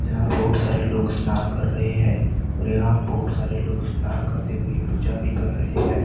यहां बहुत सारे लोग स्नान कर रहे हैं और यहां बहुत सारे लोग इस नहा करते हुए पूजा भी कर रहे है।